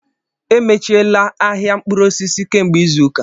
Emechiela ahịa mkpụrụ osisi kemgbe izu ụka.